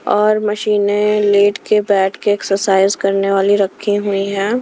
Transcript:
और मशीने लेट के बैठ के एक्सरसाइज करने वाली रखी हुई है।